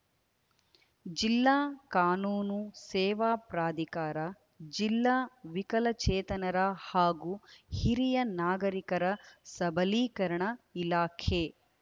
ಜಿಲ್ಲಾ ಕಾನೂನು ಸೇವಾ ಪ್ರಾಧಿಕಾರ ಜಿಲ್ಲಾ ವಿಕಲಚೇತನರ ಹಾಗೂ ಹಿರಿಯ ನಾಗರಿಕರ ಸಬಲೀಕರಣ ಇಲಾಖೆ